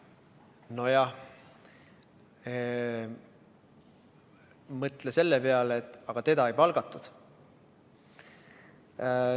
Nojah, mõtle selle peale, et teda ei palgatud.